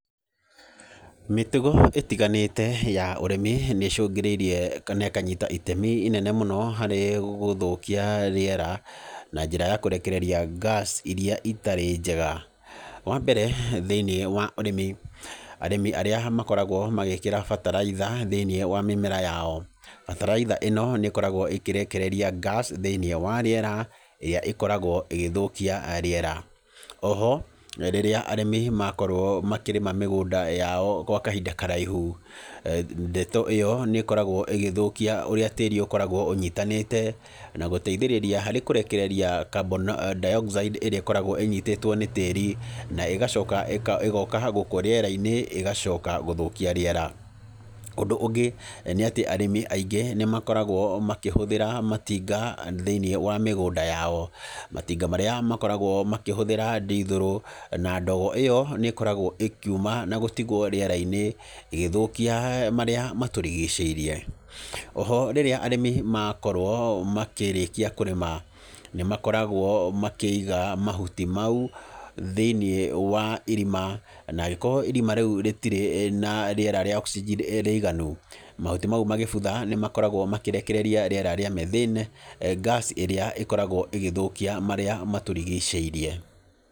Mĩtugo ĩtiganĩte ya ũrĩmi nĩ ĩcũngĩrĩirie, kana ĩkanyita itemi inene mũno harĩ gũthũkia rĩera, na njĩra ya kũrekereria gas irĩa itarĩ njega. Wa mbere, thĩiniĩ wa ũrĩmi, arĩmi arĩa makoragwo magĩkĩra bataraitha thĩiniĩ wa mĩmera yao, bataraitha ĩno nĩ ĩkoragwo ĩkĩrekereria gas thĩiniĩ wa rĩera, ĩrĩa ĩkoragwo ĩgĩthũkia rĩera. Oho, rĩrĩa arĩmi makorwo makĩrĩma mĩgũnda yao gwa kahinda karaihu, ndeto ĩyo nĩ ĩkoragwo ĩgĩthũkia ũrĩa tĩri ũkoragwo ũnyitanĩte, na gũteithĩrĩria harĩ kũrekereria carbon dioxide ĩrĩa ĩkoragwo ĩnyitĩtwo nĩ tĩri, na ĩgacoka ĩgoka gũkũ rĩera-inĩ ĩgacoka gũthũkia rĩera. Ũndũ ũngĩ, nĩ atĩ arĩmi aingĩ nĩ makoragwo makĩhũthĩra matinga thĩiniĩ wa mĩgũnda yao, matinga marĩa makoragwo makĩhũthĩra ndithũrũ, na ndogo ĩyo nĩ ĩkoragwo ĩkiuma na gũtigwo rĩera-inĩ, ĩgĩthũkia marĩa matũrigicĩirie. Oho, rĩrĩa arĩmi makorwo makĩrĩkia kũrĩma, nĩ makoragwo makĩiga mahuti mau, thĩiniĩ wa irima, na angĩkorwo irima rĩu rĩtirĩ na rĩera rĩa rĩiganu, mahuti mau magĩbutha nĩ makoragwo makĩrekereria rĩera rĩa methyne, gas ĩrĩa ĩkoragwo ĩgĩthũkia marĩa matũrigicĩirie.